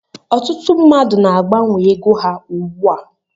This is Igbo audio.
Ọtụtụ mmadụ na agbanwe ego ha ugbu a.